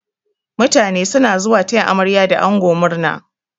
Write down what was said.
Mutane suna zuwa taya amarya da ango murna.